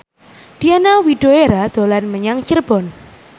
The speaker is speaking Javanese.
Diana Widoera dolan menyang Cirebon